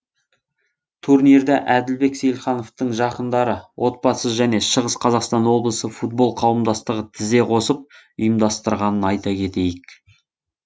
турнирді әділбек сейілхановтың жақындары отбасы және шығыс қазақстан облысы футбол қауымдастығы тізе қосып ұйымдастырғанын айта кетейік